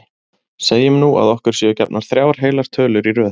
Segjum nú að okkur séu gefnar þrjár heilar tölur í röð.